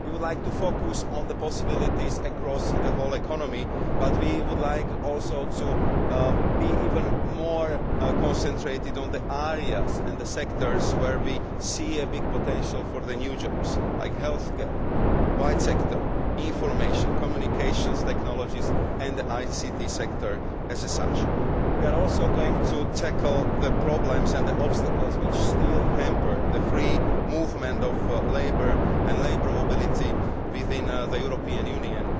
We would like to focus on the possibilities across the whole economy, but we would also like to be even more concentrated in the areas and sectors where we see a big potential for the new jobs, such as health care, white sector, information, communications technologies and the ICT sector as such. We are also going to tackle the problems and the obstacles which still hamper the free movement of labour and labour mobility within the European Union.